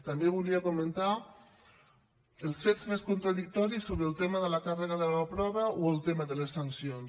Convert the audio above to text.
també volia comentar els fets més contradictoris sobre el tema de la càrrega de la prova o el tema de les sancions